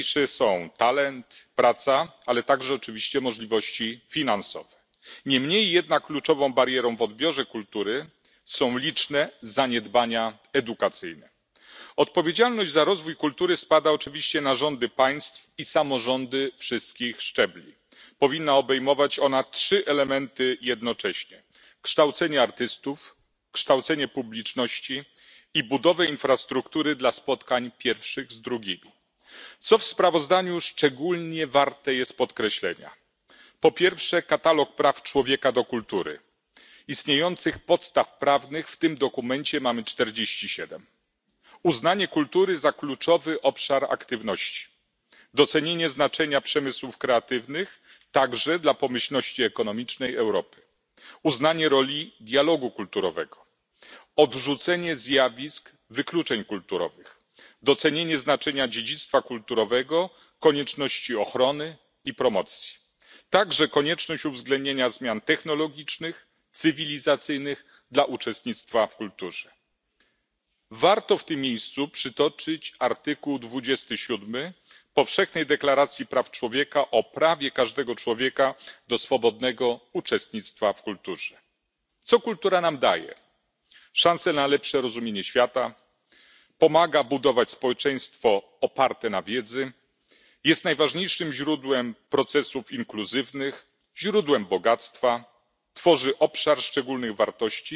Po raz pierwszy w Parlamencie Europejskim pojawia się sprawozdanie obejmujące całość problematyki uczestnictwa w kulturze, dokładnie barier w dostępie do niej. Sam tytuł sprawozdania może nieco mylić, gdyż z badań poprzedzających ten dokument wynika, że największą barierą nie jest ubogość infrastruktury ani też cena dostępności, lecz braki edukacyjne. Oczywiście dla świata kultury, możliwości tworzenia nowych dóbr najważniejsze są talent, praca, ale także oczywiście możliwości finansowe. Niemniej jednak kluczową barierą w odbiorze kultury są liczne zaniedbania edukacyjne. Odpowiedzialność za rozwój kultury spada oczywiście na rządy państw i samorządy wszystkich szczebli. Powinna obejmować ona trzy elementy jednocześnie kształcenie artystów, kształcenie publiczności i budowę infrastruktury dla spotkań pierwszych z drugimi. Co w sprawozdaniu szczególnie warte jest podkreślenia? Po pierwsze, katalog praw człowieka do kultury uznanie kultury za kluczowy obszar aktywności, docenienie znaczenia przemysłów kreatywnych, także dla pomyślności ekonomicznej Europy, uznanie roli dialogu kulturowego, odrzucenie zjawisk wykluczeń kulturowych, docenienie znaczenia dziedzictwa kulturowego, konieczności ochrony i promocji, także konieczność uwzględnienia zmian technologicznych, cywilizacyjnych dla uczestnictwa w kulturze. Warto w tym miejscu przytoczyć art. 27 Powszechnej deklaracji praw człowieka o prawie każdego człowieka do swobodnego uczestnictwa w kulturze. Co kultura nam daje? Szansę na lepsze rozumienie świata. Pomaga budować społeczeństwo oparte na wiedzy. Jest najważniejszym źródłem procesów inkluzywnych, źródłem bogactwa, tworzy obszar szczególnych